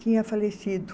tinha falecido.